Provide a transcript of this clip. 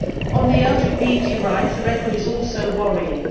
On LGBT rights the record is also worrying.